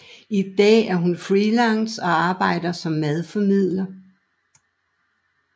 I dag er hun freelance og arbejder som madformidler